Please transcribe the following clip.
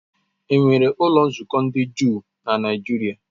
Enwere ụlọ nzukọ ndị Juu na Nigeria?